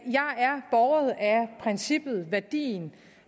princippet værdien